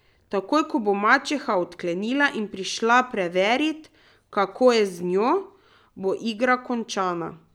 Takoj ko bo mačeha odklenila in prišla preverit, kako je z njo, bo igra končana.